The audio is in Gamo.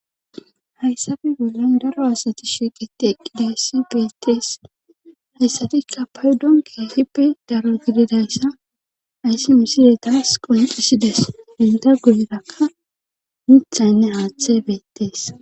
Hayssafe bollon daro asati shiqeti eqqidayssi beettees hayssatikka paydon kehipi daro gididayssa ayssi misidetas qoncisides inda goyrakka mithaynne haaththe beettees